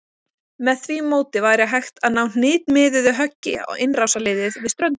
Með því móti væri hægt að ná hnitmiðuðu höggi á innrásarliðið við ströndina.